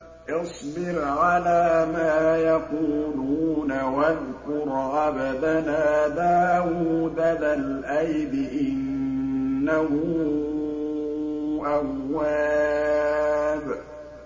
اصْبِرْ عَلَىٰ مَا يَقُولُونَ وَاذْكُرْ عَبْدَنَا دَاوُودَ ذَا الْأَيْدِ ۖ إِنَّهُ أَوَّابٌ